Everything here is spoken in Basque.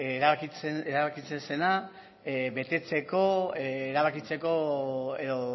erabakitzen zena betetzeko erabakitzeko edo